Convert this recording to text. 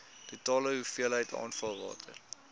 totale hoeveelheid afvalwater